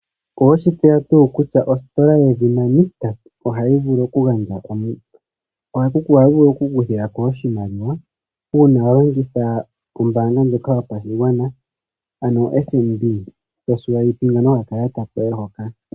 Oweshi tseya tuu kutya ositola yedhina Nictus ohayi vulu oha ku vulu oku kuthiwa oshimaliwa una wa longitha ombanga ndjoka yopashigwana ano FNB to landa nokakalata koye hoka.